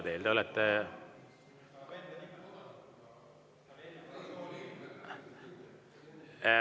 Te olete …